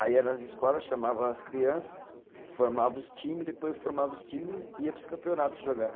Aí ia nas escolas, chamava as criança, formava os time, depois formava os times e ia para os campeonato jogar.